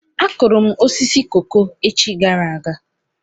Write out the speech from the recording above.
Akụrụ m osisi koko echi gara aga.